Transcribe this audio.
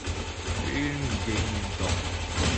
фильм день до